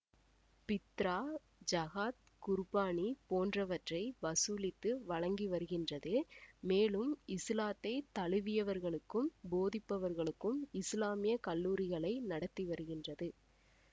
பித்ரா ஜகாத் குர்பானி போன்றவற்றை வசூலித்து வழங்கி வருகின்றது மேலும் இசுலாத்தை தழுவியவர்களுக்கும் போதிப்பவர்களுக்கும் இசுலாமிய கல்லூரிகளை நடத்தி வருகின்றது